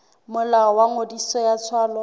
molao wa ngodiso ya tswalo